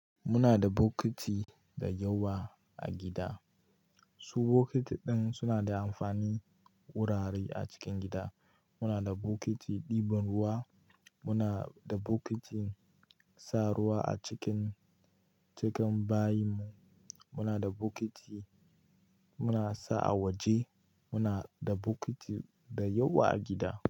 Muna da bokiti da yawa a gida. Su bokiti din suna da amfani wurare a cikin gida. Muna da bokiti ɗiban ruwa, muna da bokiti sa ruwa a cikin, cikin bayi mu, muna da bokiti muna sa a waje, muna da bokiti dayawa a gida.